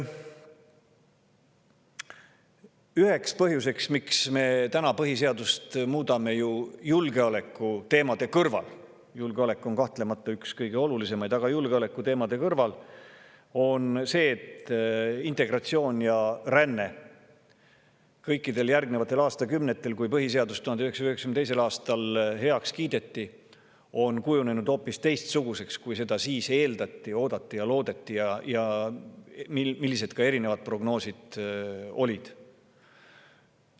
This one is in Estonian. Üks põhjus, miks me põhiseadust muudame, julgeolekuteemade kõrval – julgeolek on kahtlemata üks kõige olulisemaid põhjusi –, on see, et integratsioon ja ränne kõikidel nendel aastakümnetel,, kui põhiseadus 1992. aastal heaks kiideti, on kujunenud hoopis teistsuguseks, kui seda siis eeldati, oodati ja loodeti, ja millised olid erinevad prognoosid.